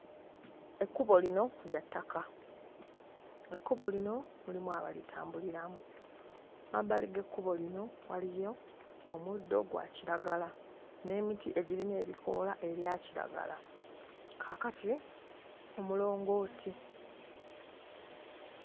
Ekkubo lino lya ttaka, ekkubo lino mulimu abalitambuliramu, mmabbali g'ekkubo lino waliyo omuddo gwa kiragala n'emiti egirina ebikoola ebya kiragala, kaakati omulongooti.